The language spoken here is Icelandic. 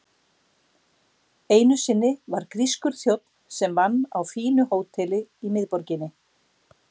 Einu sinni var grískur þjónn sem vann á fínu hóteli í miðborginni.